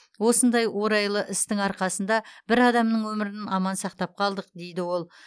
осындай орайлы істің арқасында бір адамның өмірін аман сақтап қалдық дейді ол